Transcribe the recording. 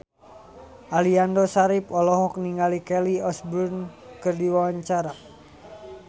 Aliando Syarif olohok ningali Kelly Osbourne keur diwawancara